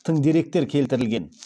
тың деректер келтірілген